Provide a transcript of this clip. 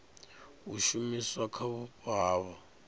a shumiswa kha vhupo havho